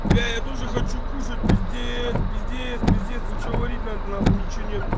бля я тоже хочу кушать пиздец пиздец пиздец ничего варить надо на хуй ничего нету